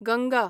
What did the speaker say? Ganga